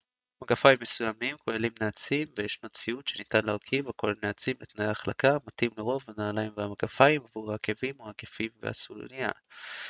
מגפיים מסוימים כוללים נעצים וישנו ציוד שניתן להרכיב הכולל נעצים לתנאי החלקה המתאים לרוב הנעליים והמגפיים עבור העקבים או העקבים והסוליה